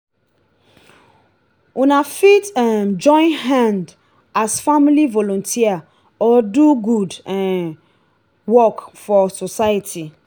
una fit um join hand as family volunteer or do good um work for society